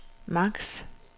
max